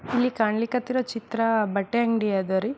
ಇಲ್ಲಿ ಕಾಣಲಿಕ್ ಹತ್ತಿರೋ ಚಿತ್ರ ಬಟ್ಟೆ ಅಂಗ್ಡಿ ಅದರೀ.